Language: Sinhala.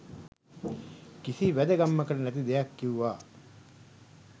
කිසි වැදගැම්මකට නැති දෙයක් කිව්වා.